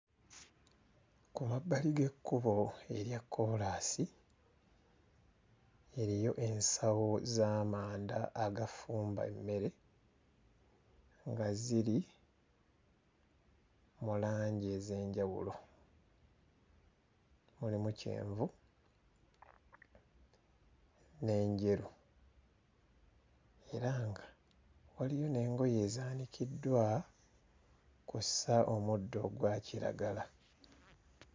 Ku mabbali g'ekkubo erya kkoolaasi eriyo ensawo z'amanda agafumba emmere nga ziri mu langi ez'enjawulo mulimu; kyenvu n'enjeru era nga waliyo n'engoye ezaanikiddwa, kw'ossa omuddo ogwa kiragala.